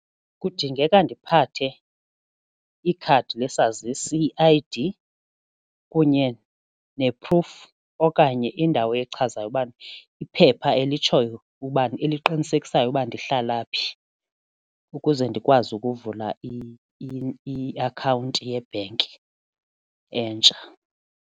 Kudingeka ndiphathe ikhadi lesazisi i-I_D kunye ne-proof okanye indawo echazayo ubana iphepha elitshoyo uba eliqinisekisayo ukuba ndihlala phi ukuze ndikwazi ukuvula iakhawunti yebhenki entsha.